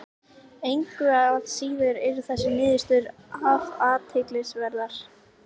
Engu að síður eru þessar niðurstöður afar athyglisverðar.